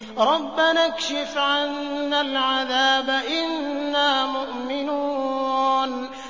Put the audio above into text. رَّبَّنَا اكْشِفْ عَنَّا الْعَذَابَ إِنَّا مُؤْمِنُونَ